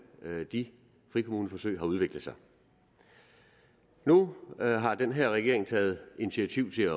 de frikommuneforsøg har udviklet sig nu har den her regering taget initiativ til at